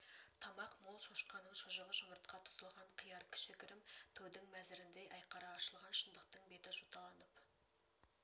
тамақ мол шошқаның шұжығы жұмыртқа тұздалған қияр кішігірім тойдың мәзіріндей айқара ашылған шындықтың беті жоталанып